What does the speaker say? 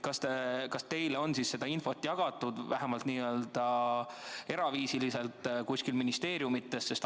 Kas teile on seda infot jagatud, vähemalt n-ö eraviisiliselt kuskil ministeeriumis?